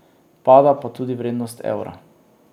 Pada pa tudi vrednost evra.